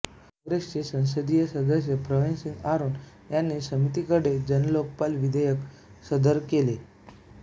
कॉग्रेसचे संसदीय सदस्य प्रवीणसिंग आरोन यांनी समितीकडे जन्लोक्पाल विधेयक सदर केले